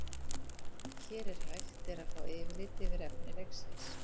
Hér er hægt er að fá yfirlit yfir efni leiksins.